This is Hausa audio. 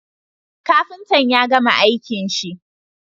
Kafinta yagama aikin shi